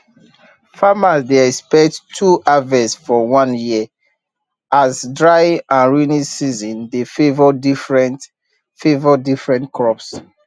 farmers dey expect two harvest for one year as dry and rainy season dey favour different favour different crops